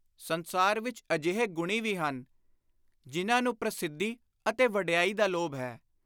ਸੰਸਾਰ ਵਿਚ ਅਜਿਹੇ ਗੁਣੀ ਵੀ ਹਨ ਜਿਨ੍ਹਾਂ ਨੂੰ ਪ੍ਰਸਿੱਧੀ ਅਤੇ ਵਡਿਆਈ ਦਾ ਲੋਭ ਹੈ।